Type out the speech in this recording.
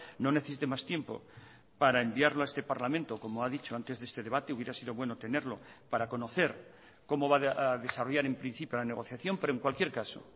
no necesite más tiempo para enviarlo a este parlamento como ha dicho antes de este debate hubiera sido bueno tenerlo para conocer cómo va a desarrollar en principio la negociación pero en cualquier caso